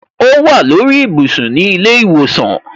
O wa ni orí ibùsùn ni ile iwosan.